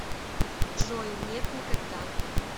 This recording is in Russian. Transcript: джой нет никогда